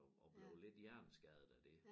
Og og blev lidt hjerneskadet af det